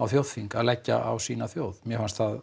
á þjóðþing að leggja á sína þjóð mér fannst það